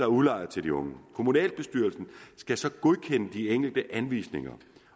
udlejer til de unge kommunalbestyrelsen skal så godkende de enkelte anvisninger